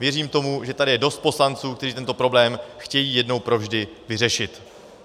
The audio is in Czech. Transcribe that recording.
Věříme tomu, že je tady dost poslanců, kteří tento problém chtějí jednou provždy vyřešit.